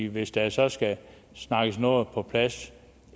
hvis der så skal snakkes noget på plads